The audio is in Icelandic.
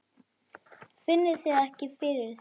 Finnið þið ekki fyrir þessu?